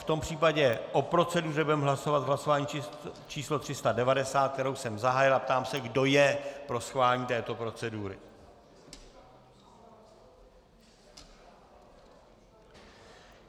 V tom případě o proceduře budeme hlasovat v hlasování číslo 390, které jsem zahájil, a ptám se, kdo je pro schválení této procedury.